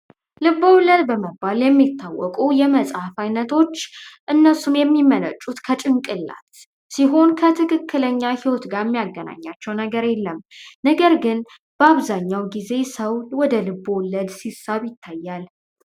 ልቦለድ በመባል የሚታወቁ የመጽሐፍ አይነቶች እነሱን የሚመነጩ ከጭንቅላት ሲሆን ከትክክለኛ ህይወት ያገናኛቸው ነገር የለም። ነገር ግን በአብዛኛው ጊዜ ሰው ወደ ልቦለድ ሲሳይ ይታያል